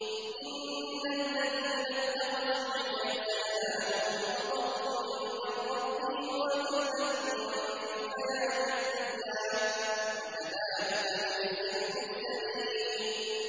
إِنَّ الَّذِينَ اتَّخَذُوا الْعِجْلَ سَيَنَالُهُمْ غَضَبٌ مِّن رَّبِّهِمْ وَذِلَّةٌ فِي الْحَيَاةِ الدُّنْيَا ۚ وَكَذَٰلِكَ نَجْزِي الْمُفْتَرِينَ